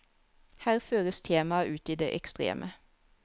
Her føres temaet ut i det ekstreme.